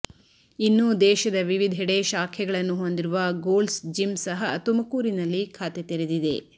ಇನ್ನು ದೇಶದ ವಿವಿಧೆಡೆ ಶಾಖೆಗಳನ್ನು ಹೊಂದಿರುವ ಗೋಲ್ಡ್ಸ್ ಜಿಮ್ ಸಹ ತುಮಕೂರಿನಲ್ಲಿ ಖಾತೆ ತೆರೆದಿದೆ